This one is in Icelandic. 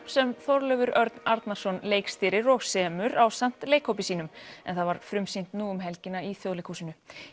sem Þorleifur Örn Arnarson leikstýrir og semur ásamt leikhópi sínum en það var frumsýnt nú um helgina í Þjóðleikhúsinu